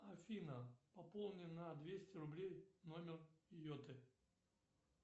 афина пополни на двести рублей номер йоты